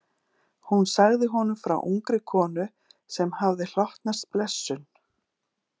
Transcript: Hún sagði honum frá ungri konu sem hafði hlotnast blessun